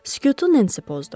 Sükutu Nensi pozdu.